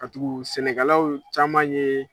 Katugu sɛnɛkɛlaw caman ye